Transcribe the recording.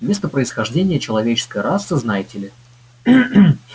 место происхождения человеческой расы знаете ли